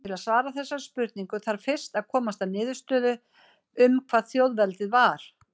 Til að svara þessari spurningu þarf fyrst að komast að niðurstöðu um hvað þjóðveldið var.